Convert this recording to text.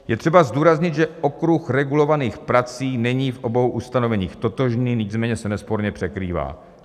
Je třeba zdůraznit, že okruh regulovaných prací není v obou ustanoveních totožný, nicméně se nesporně překrývá.